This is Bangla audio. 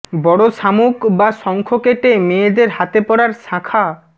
বড় শামুক বা শঙ্খ কেটে মেয়েদের হাতে পরার শাঁখা